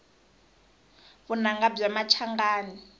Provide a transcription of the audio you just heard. vunanga bya machangani